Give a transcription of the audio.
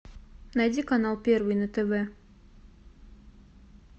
найди канал первый на тв